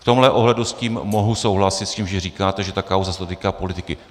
V tomhle ohledu s tím mohu souhlasit, s tím, že říkáte, že ta kauza se týká politiky.